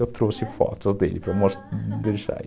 Eu trouxe fotos dele para mostrar.